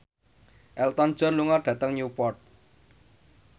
Elton John lunga dhateng Newport